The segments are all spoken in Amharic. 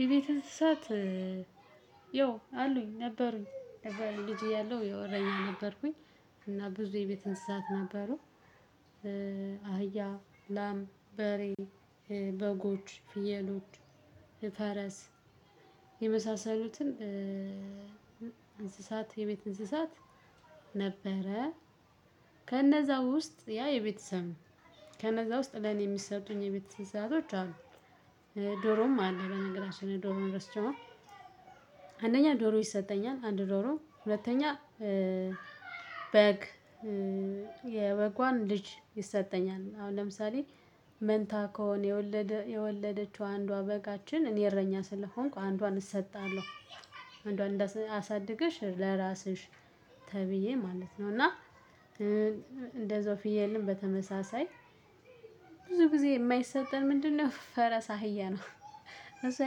የቤት እንስሳት። ያው አሉኝ ነበሩኝ ነበሩኝ ልጅ እያለሁ ያው እረኛ ነበርኩኝ። እና ብዙ የቤት እንስሳት ነበሩ። አህያ ላም በሬ በጎች ፍየሎች ፈረስ የመሳሰሉትን እንስሳት የቤት እንስሳት። ነበረ ከነዛ ውስጥ ያ የቤተሰብ ነው። ከነዛ ውስጥ ለኔ የሚሰጡኝ የቤት እንስሳቶች አሉ። ዶሮም አለ በነገራችን ዶሮ ረስቼው። አንደኛ ዶሮ ይሰጠኛል አንድ ዶሮ ሁለተኛ በግ የበጓን ልጅ ይሰጠኛል አሁን ለምሳሌ መንታ ከሆነ የወለደችው አንዷ በጋችን እኔ እረኛ ስለሆንኩ አንዷን እሰጣለሁ። አንዷን እሳድገሽ ለራስሽ ተብዬ ማለት ነው። እና እንደዛው ፍየልን በተመሳሳይ ብዙ ጊዜ የማይሰጠን ምንድን ነው? ፈረስ አህያ ነው። እሱ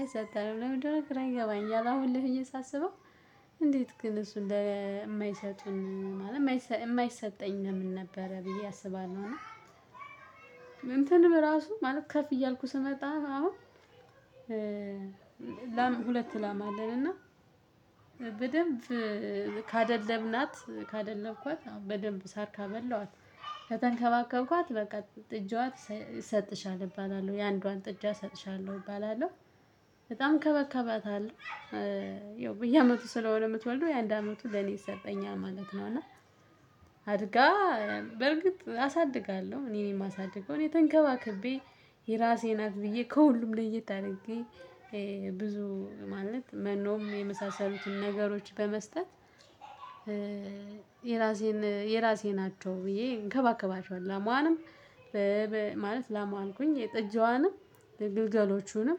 አይሰጠንም ለምን ደልእንደሆነ ግራ ይገባኛል። አሁን ላይ ሳስበው እንዴት ግን እሱን እንደማይሰጡን ማለት የማይሰጠኝ ለምን ነበረ ብዬ አስባለሁ። እና እንትን በራሱ ማለት ከፍ እያልኩ ስመጣ አሁን። ላም ሁለት ላም አለን። እና በደንብ ካደለብናት ካደለብኳት በደንብ ሳር ካበላኋት ከተንከባከብኳት በቃ ጥጃዋ ይሰጥሻል እሰጥሻለሁ እባላለሁ የአንዷን ጥጃ እሰጥሻለሁ እባላለሁ። በጣም እንከባከባታለሁ ያው በየአመቱ ስለሆነ የምትወልደው የአንድ አመቱ ለኔ ይሰጠኛል ማለት ነው። እና አድጋ በርግጥ አሳድጋለሁ እኔ ነኝ ማሳድገው እኔ ተንከባከቤ የራሴ ናት ብዬ ከሁሉም ለየት አርጌ። ብዙ ማለት መኖም የመሳሰሉትን ነገሮች በመስጠት የራሴን የራሴ ናቸው። ብዬ እንከባከባቸዋሁ ላሟዋንም ማለት ላሟ አልኩኝ የጥጃዋንም የግልገሎቹንም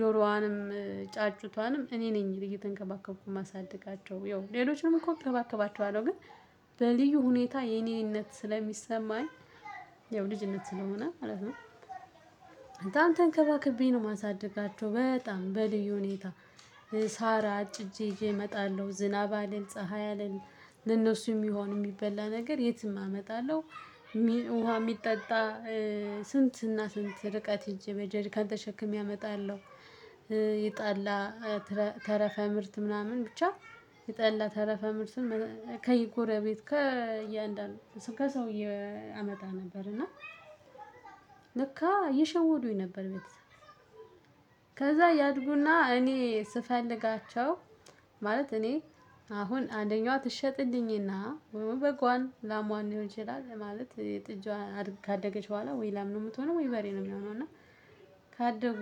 ዶሮዋንም ጫጩቷንም እኔ ነኝ እየተንከባከብኩ ማሳድጋቸው ያው ሌሎችም እኮ እከባከባቸዋለሁ። ግን በልዩ ሁኔታ የኔነት ስለሚሰማኝ ያው ልጅነት ስለሆነ ማለት ነው። ተንከባክቤ ነው ማሳድጋቸው በጣም በልዩ ሁኔታ ሳራ አጭጄ እመጣለሁ። ዝናብ አልል ፀሀይ አልል ለእነሱ የሚሆን የሚበላ ነገር የትም አመጣለሁ። ውሃ ሚጠጣ ስንትና ስንት ርቀት ሄጄ በጀሪካን ተሸክሜ አመጣለሁ። የጠላ ተረፈ ምርት ምናምን ብቻ የጠላ ተረፈ ምርትን ከየጎረቤት ከየእንዳንዱ ከሰውዬ አመጣ ነበር እና ለካ እየሸወዱኝ ነበር። ቤተሰብ ከዛ ያድጉና እኔ ስፈልጋቸው ማለት እኔ አሁን አንደኛዋ ትሸጥልኝና በግዋን ላሟን ሊሆን ይችላል። ማለት ጥጃዋን ካደገች በኋላ ወይ ላም ነው የምትሆነው ወይ በሬ ነው ሚሆነው። እና ካደጉ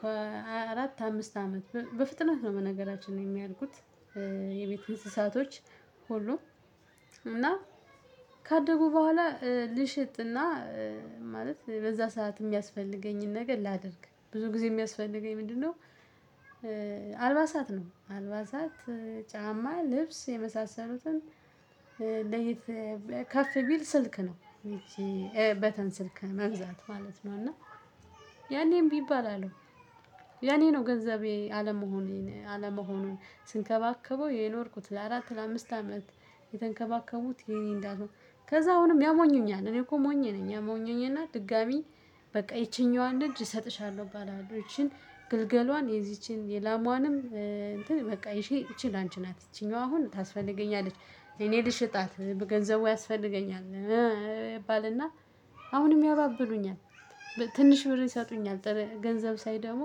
ከአራት አምስት አመት በፍጥነት ነው በነገራችን የሚያድጉት። የቤት ንስሳቶች ሁሉ እና ካደጉ በኋላ ልሽጥና ማለት በዛ ሰዓት የሚያስፈልገኝን ነገር ላድርግ ብዙ ጊዜ የሚያስፈልገኝ ምንድን ነው? አልባሳት ነው። አልባሳት ጫማ ልብስ የመሳሰሉትን ለየት ከፍ ቢል ስልክ ነው። በተን ስልክ መግዛት ማለት ነው። እና ያኔም እምቢ እባላለሁ የኔ ነው ገንዘቤ አለመሆኔን አለመሆኑን ስንከባከበው የኖርኩት ለአራት ለአምስት አመት የተንከባከቡት የኔ እንዳትሆነ ከዛ አሁንም ያሞኙኛል እኔ እኮ ሞኝ ነኝ። ያሞኙኝ እና ድጋሚ በቃ ይቺኛዋን ልጅ እሰጥሻለሁ ባላችሁ ይቺን ግልገሏን የዚችን የላማዋንም እንትን በቃ ይቺ ይቺን ላንቺ ናት እቺኛዋ አሁን ታስፈልገኛለች እኔ ልሽጣት በገንዘቡ ያስፈልገኛል። እባልና አሁንም ያባብሉኛል። ትንሽ ብር ይሰጡኛል ገንዘብ ሳይ ደግሞ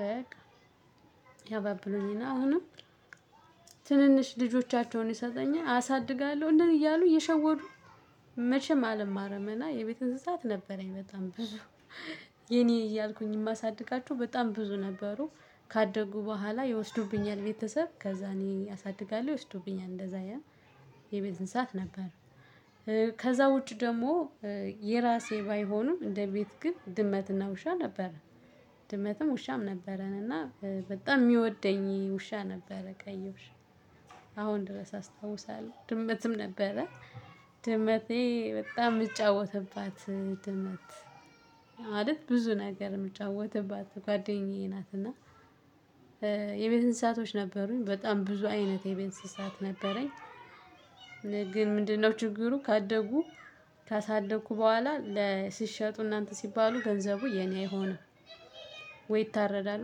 በቃ ያባብሉኝና አሁንም ትንንሽ ልጆቻቸውን ይሰጥኛል አሳድጋለሁ እንደዚህ እያሉ እየሸወዱ። መቼም አለማርም እና የቤት እንስሳት ነበረኝ በጣም ብዙ። የኔ እያልኩኝ ማሳድጋቸው በጣም ብዙ ነበሩ። ካደጉ በኋላ ይወስዱብኛል ቤተሰብ ከዛ እኔ አሳድጋለሁ ይወስዱብኛል እንደዛ ያ የቤት እንስሳት ነበር። ከዛ ውጪ ደግሞ የራሴ ባይሆኑም እንደ ቤት ግን ድመትና ውሻ ነበረ። ድመትም ውሻም ነበረን። እና በጣም ሚወደኝ ውሻ ነበረ ቀይ። ውሻ አሁን ድረስ አስታውሳለሁ። ድመትም ነበረ። ድመቴ በጣም ምጫወትባት ድመት ማለት ብዙ ነገር የምጫወትባት ጓደኛዬ ናትና። የቤት እንስሳቶች ነበሩኝ በጣም ብዙ አይነት የቤን እንስሳት ነበረኝ። ግን ምንድነው? ችግሩ ካደጉ ካሳደግኩ በኋላ ለሲሸጡ እና እንትን ሲባሉ ገንዘቡ የኔ አይሆንም። ወይ ይታረዳሉ